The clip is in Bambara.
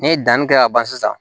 Ni ye danni kɛ ka ban sisan